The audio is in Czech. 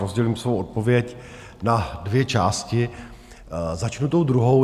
Rozdělím svou odpověď na dvě části, začnu tou druhou.